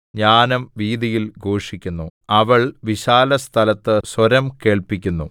ജ്ഞാനം വീഥിയിൽ ഘോഷിക്കുന്നു അവൾ വിശാലസ്ഥലത്ത് സ്വരം കേൾപ്പിക്കുന്നു